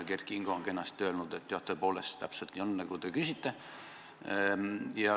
Kert Kingo ütles kenasti, et jah, tõepoolest, täpselt nii, nagu te küsite.